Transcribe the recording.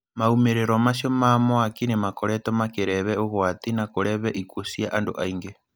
Maumirirwo macio ma mwaki nĩ makoretwo makĩreve ũgwati na kureve ikuo cia andũ aingĩ.